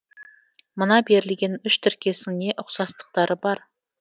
мына берілген үш тіркестің не ұқсастықтары бар